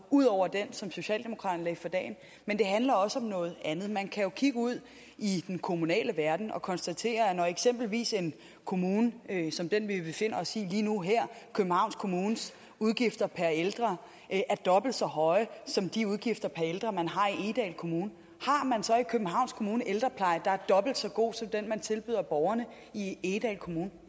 ud over den som socialdemokraterne lagde for dagen men det handler også om noget andet man kan jo kigge ud i den kommunale verden og konstatere at eksempelvis en kommune som den vi befinder os i lige nu og her københavns kommunes udgifter per ældre er dobbelt så høje som de udgifter per ældre man har i egedal kommune har københavns kommune ældrepleje der er dobbelt så god som den man tilbyder borgerne i egedal kommune